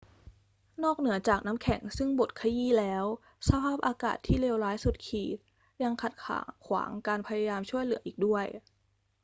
นอกเหนือจากน้ำแข็งซึ่งบดขยี้แล้ว สภาพอากาศที่เลวร้ายสุดขีดยังขัดขวางการพยายามช่วยเหลืออีกด้วย